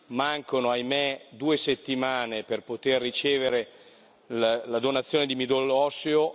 Mancano, ahimè, due settimane per poter ricevere la donazione di midollo osseo.